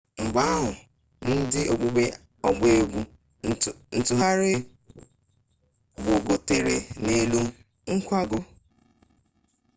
mgbe ahụ ndị okpukpe ọgba egwu ntụgharị gbogotere n'elu nkwago